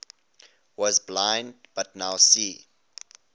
was blind but now see